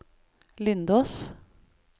Lindås